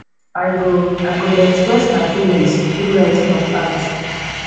i go i go dey express my feelings through writing or art